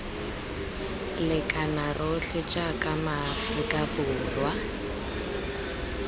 lekana rotlhe jaaka maaforika borwa